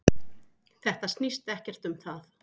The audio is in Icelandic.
Þetta snýst ekkert um það.